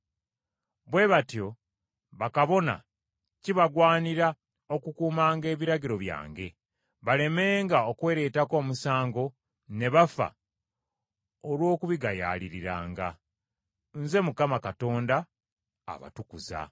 Bwe batyo bakabona kibagwanira okukuumanga ebiragiro byange, balemenga okwereetako omusango ne bafa olw’okubigayaaliriranga. Nze Mukama Katonda abatukuza.